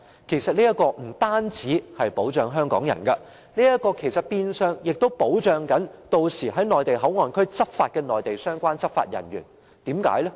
其實這不但可保障香港人，亦變相保障屆時在內地口岸區的相關內地執法人員。